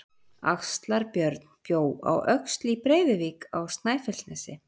Axlar-Björn bjó á Öxl í Breiðuvík á Snæfellsnesi.